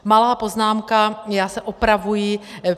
Malá poznámka, já se opravuji.